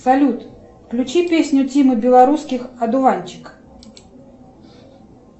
салют включи песню тимы белорусских одуванчик